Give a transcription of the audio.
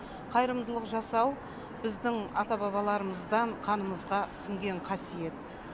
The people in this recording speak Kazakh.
қайырымдылық жасау біздің ата бабаларымыздан қанымызға сінген қасиет